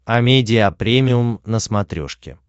амедиа премиум на смотрешке